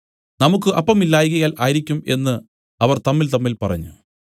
നമുക്കു അപ്പം ഇല്ലായ്കയാൽ ആയിരിക്കും എന്നു അവർ തമ്മിൽതമ്മിൽ പറഞ്ഞു